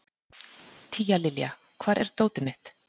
Tíalilja, hvar er dótið mitt?